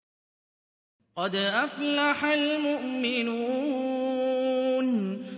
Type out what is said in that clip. قَدْ أَفْلَحَ الْمُؤْمِنُونَ